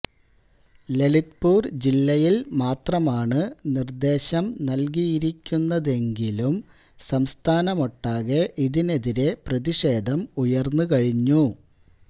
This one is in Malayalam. ലളിത്പൂര് ജില്ലയില് മാത്രമാണ് നിര്ദേശം നല്കിയിരിക്കുന്നതെങ്കിലും സംസ്ഥാനമൊട്ടാകെ ഇതിനെതിരേ പ്രതിഷേധം ഉര്ന്നുകഴിഞ്ഞു